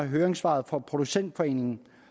høringssvaret fra producentforeningen